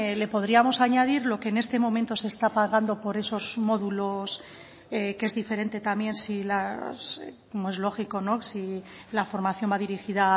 le podríamos añadir lo que en este momento se está pagando por esos módulos que es diferente también si las como es lógico no si la formación va a dirigida